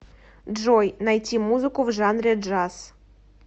джой найти музыку в жанре джаз